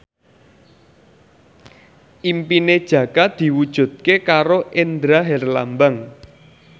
impine Jaka diwujudke karo Indra Herlambang